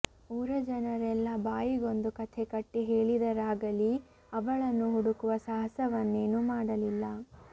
ಊರ ಜನರೆಲ್ಲಾ ಬಾಯಿಗೊಂದು ಕಥೆಕಟ್ಟಿ ಹೇಳಿದರಾಗಲೀ ಅವಳನ್ನು ಹುಡುಕುವ ಸಾಹಸವನ್ನೇನೂ ಮಾಡಲಿಲ್ಲ